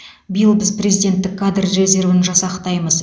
биыл біз президенттік кадр резервін жасақтаймыз